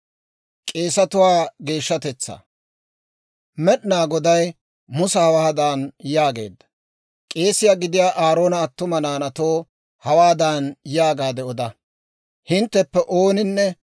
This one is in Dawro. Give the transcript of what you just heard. Med'inaa Goday Musa hawaadan yaageedda, «K'eesiyaa gidiyaa Aaroona attuma naanaatoo hawaadan yaagaade oda; ‹Hintteppe ooninne